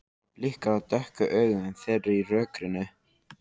Það blikar á dökku augun þeirra í rökkrinu.